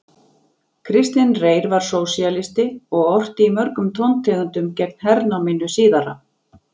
Kristinn Reyr var sósíalisti og orti í mörgum tóntegundum gegn hernáminu síðara.